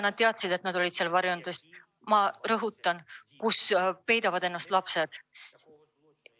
Ma rõhutan, et nad teadsid, et nendes varjendites peidavad ennast lapsed.